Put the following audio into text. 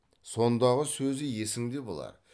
сондағы сөзі есіңде болар